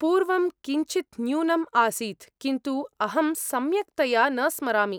पूर्वं किञ्चित् न्यूनम् आसीत्, किन्तु अहं सम्यक्तया न स्मरामि।